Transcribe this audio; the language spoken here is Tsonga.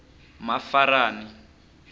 mafarani